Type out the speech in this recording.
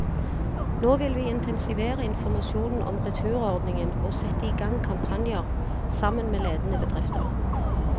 Nå vil vi intensivere informasjonen om returordningen og sette i gang kampanjer, sammen med ledende bedrifter.